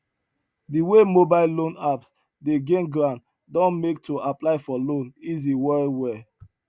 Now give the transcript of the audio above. di wey mobile loan apps dey gain ground don make to apply for loan easy well well